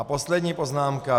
A poslední poznámka.